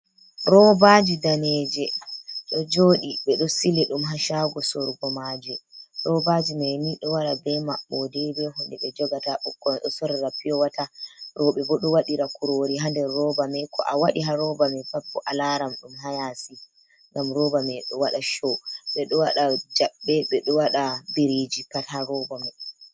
Robaji daneje ɗo jodi ɓe do sili dum ha shago sorugo maje. Robaji mai ni ɗo wara bei mabbo de be hunde be jogata. Ɓukkoi ɗo sorira piyo wata roɓe bo ɗo wata kurori ha nder roba mai. Ko a waɗi ha roba mai pat bo a laram dum hayasi gam roba mai do wada sho. Ɓe ɗo waɗa jabbe ɓeɗo waɗa biriji pat ha roba man